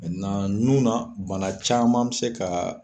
nun na bana caman be se ka